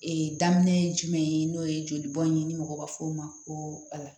Ee daminɛ ye jumɛn ye n'o ye joli bɔn ye ni mɔgɔ b'a fɔ o ma ko ala